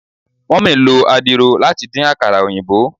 Mummy lo adiro lati din akara oyinbo